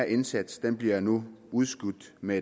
indsats bliver nu udskudt med